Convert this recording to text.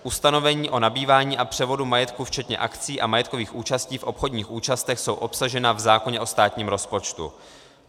Ustanovení o nabývání a převodu majetku včetně akcií a majetkových účastí v obchodních účastech jsou obsažena v zákoně o státním rozpočtu.